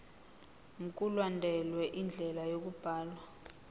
mkulandelwe indlela yokubhalwa